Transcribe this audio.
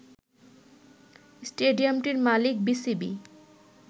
স্টেডিয়ামটির মালিক বিসিবি